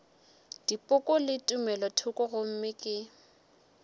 dipoko le tumelothoko gomme ke